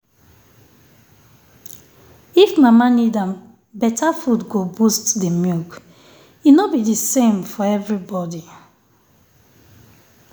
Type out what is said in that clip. if mama need am better food go boost the milk. e no be the same for everybody.